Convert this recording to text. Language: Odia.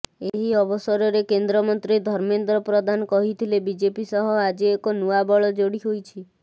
ଏହି ଅବସରରେ କେନ୍ଦ୍ରମନ୍ତ୍ରୀ ଧର୍ମେନ୍ଦ୍ର ପ୍ରଧାନ କହିଥିଲେ ବିଜେପି ସହ ଆଜି ଏକ ନୂଆ ବଳ ଯୋଡ଼ି ହୋଇଛି